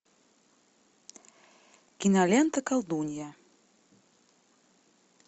кинолента колдунья